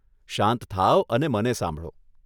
શાંત થાવ અને મને સાંભળો.